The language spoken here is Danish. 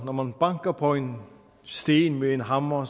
når man banker på en sten med en hammer